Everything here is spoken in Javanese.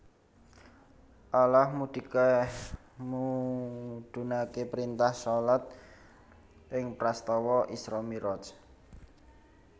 Allah mudhunaké printah shalat ing prastawa Isra Mi raj